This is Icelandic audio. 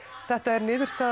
þetta er niðurstaða